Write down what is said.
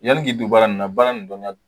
Yali k'i don baara nin na baara nin dɔnniya don